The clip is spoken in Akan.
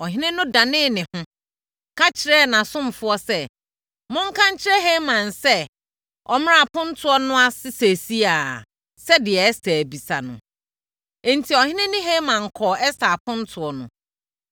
Ɔhene no danee ne ho, ka kyerɛɛ nʼasomfoɔ sɛ, “Monka nkyerɛ Haman sɛ, ɔmmra apontoɔ no ase seesei ara, sɛdeɛ Ɛster abisa no.” Enti, ɔhene ne Haman kɔɔ Ɛster apontoɔ no.